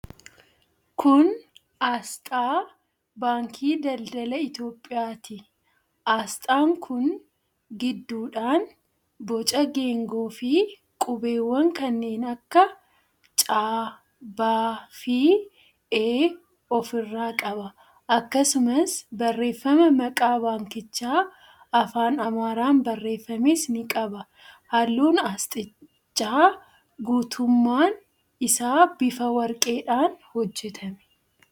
Kun aasxaa Baankii Daldala Itiyoophiyaati. Aasxaan kun gidduudhaan boca geengoofi qubeewwan kanneen akka C, B fi E ofirraa qaba. Akkasumas barreeffama maqaa baankichaa afaan Amaaraan barreeffames ni qaba. Halluun aasxichaa guutummaan isaa bifa warqeedhaan hojjetame.